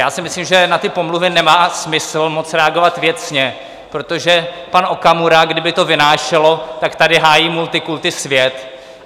Já si myslím, že na ty pomluvy nemá smysl moc reagovat věcně, protože pan Okamura, kdyby to vynášelo, tak tady hájí multikulti svět.